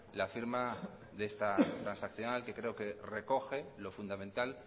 la firma de esta transaccional que creo que recoge lo fundamental